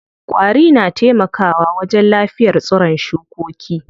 Ƙwari na taimaka wa wajen lafiyar tsiron shukoki.